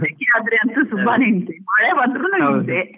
ಸೆಕೆ ಆದ್ರೆ ಅಂತೂ ತುಂಬಾನೇ ಹಿಂಸೆ ಮಳೆ ಬಂದ್ರೂನು ಹಿಂಸೆ .